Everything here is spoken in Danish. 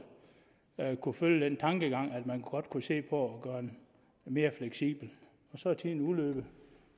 kunne følge den tankegang at man godt kunne se på at gøre den mere fleksibel og så er tiden udløbet